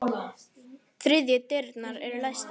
Þriðju dyrnar eru læstar.